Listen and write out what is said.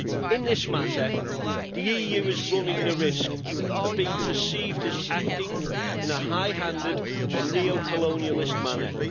In this matter, the EU is running the risk of being perceived as acting in a high handed and a neo colonialist manner.